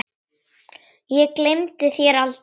Ég gleymi þér aldrei.